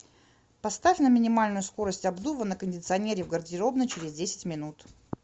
поставь на минимальную скорость обдува на кондиционере в гардеробной через десять минут